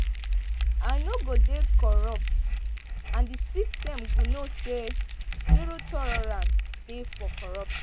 "i no go dey corrupt and di system go know say zero tolerance dey for corruption.